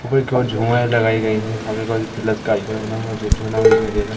ऊपर की ओर झूमर लगाई गई हैं सामने की ओर प्लस का आइकन बना हुआ जो दिखाई दे रहा।